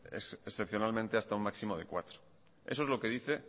excepcionalmente hasta un máximo de cuatro eso es lo que dice